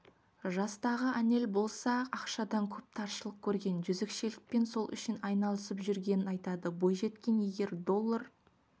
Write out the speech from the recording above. жастағы анель болса ақшадан көп таршылық көрген жезөкшелікпен сол үшін айналысып жүргенін айтады бойжеткен егер доллар